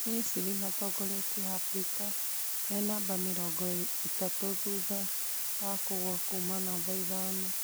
Misri matongoretie Afrika mena namba mĩrongo ithatũ thutha wa kũgwa kuuma numba ithano